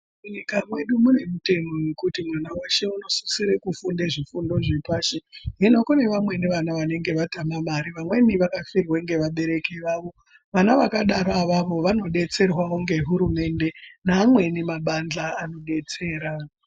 Munyika mwedu mune mutemo wekuti mwana weshe unosisire kufunde zvifundo zvepashi. Hino kune vamweni vana vanenge vatame mare, vamweni vakafirwa ngevabereki vavo. Vana vakadaro avavo vanodetserwawo ngehurumende neamweni mabandhla anodetsera.